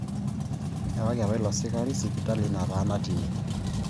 Eewaki apa ilo sikari sipitalini nataana tine